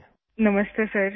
अभिदन्या नमस्ते सर